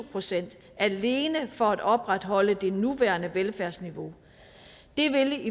procent alene for at opretholde det nuværende velfærdsniveau det vil